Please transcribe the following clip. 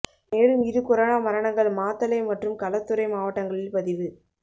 மேலும் இரு கொரோனா மரணங்கள் மாத்தளை மற்றும் களுத்துறை மாவட்டங்களில் பதிவு